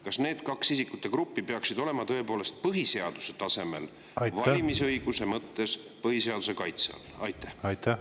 Kas need kaks isikute gruppi peaksid tõepoolest olema valimisõiguse mõttes põhiseaduse kaitse all?